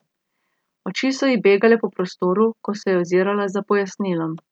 Oči so ji begale po prostoru, ko se je ozirala za pojasnilom.